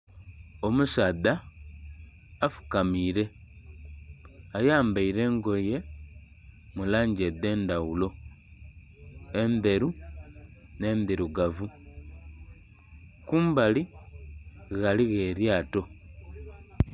Omusaadha afukamire ayambaire engoye mu langi edh'endhaghulo endheru nhe endhirugavu, kumbali ghaligho eryaato.